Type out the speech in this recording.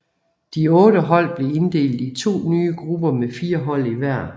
De otte hold blev inddelt i to nye grupper med fire hold i hver